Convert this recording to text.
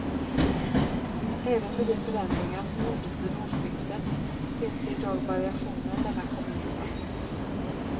Även med de förändringar som gjordes vid årsskiftet finns det i dag variationer mellan kommunerna.